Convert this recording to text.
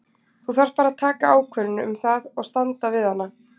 Þú þarft bara að taka ákvörðun um það og standa við hana.